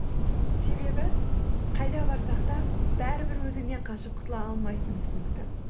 себебі қайда барсақ та бәрі бір өзіңнен қашып құтыла алмайтының түсінікті